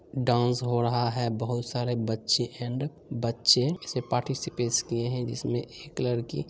नृत्य हो रहा है। बहुत सारे बछे इसमें पार्टिसिपेट की है। जिस मैं एक लड़की--